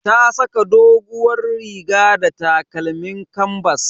Ta saka doguwar riga da takalmin kanbas.